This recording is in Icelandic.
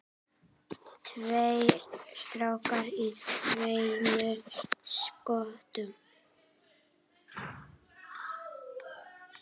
Tveir strákar í tveimur skotum.